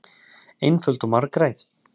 Einföld og margræð.